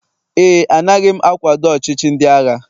éè, anaghị m akwado ọchịchị ndị agha